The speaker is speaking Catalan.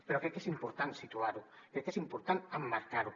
però crec que és important situar ho crec que és important emmarcar ho